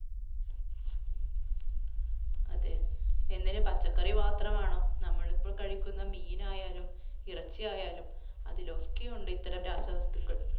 അതെ. എന്തിന്? പച്ചക്കറി മാത്രമാണോ? നമ്മൾ ഇപ്പോൾ കഴിക്കുന്ന മീനായാലും, ഇറച്ചിയായാലും അതിലൊക്കെ ഉണ്ട് ഇത്തരം രാസ വസ്തുക്കൾ.